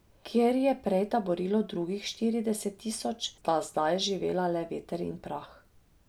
Kjer je prej taborilo drugih štirideset tisoč, sta zdaj živela le veter in prah.